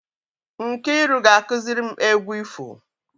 Nkiru ga akụziri m egwu ifo.